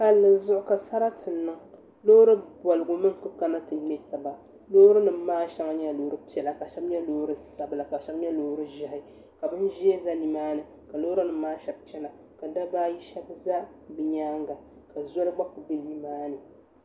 Palli zuɣu ka sarati niŋ loori bobgu mii n kana ti ŋmɛ taba loori nim maa shɛli nyɛla loori piɛla ka shɛli nyɛ loori sabila ka shɛli nyɛ loori ʒiɛhi ka bin ʒiɛ bɛ nimaani ka loori nim maa shab chɛna ka dabba ayi shab ʒɛ bi nyaanga ka zoli gba ku bɛ nimaani